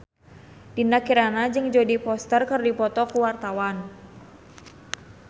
Dinda Kirana jeung Jodie Foster keur dipoto ku wartawan